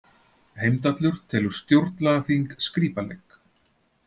Heimdallur telur stjórnlagaþing skrípaleik